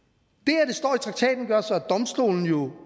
traktaten gør så at domstolene jo